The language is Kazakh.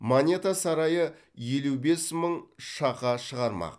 монета сарайы елу бес мың шақа шығармақ